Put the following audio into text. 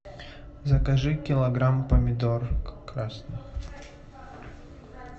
закажи килограмм помидор красных